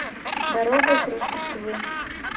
дорога к рождеству